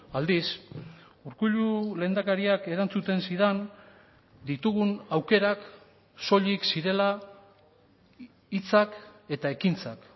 aldiz urkullu lehendakariak erantzuten zidan ditugun aukerak soilik zirela hitzak eta ekintzak